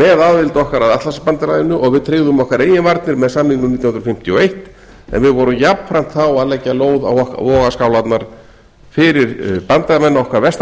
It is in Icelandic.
með aðild okkar að atlantshafsbandalaginu og við tryggðum okkar eigin varnir með samningnum nítján hundruð fimmtíu og eitt en við vorum jafnframt þá að leggja lóð á vogarskálarnar fyrir bandamenn okkar vestan